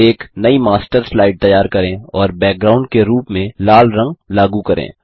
एक नयी master slide तैयार करें और बैकग्राउंड के रूप में लाल रंग लागू करें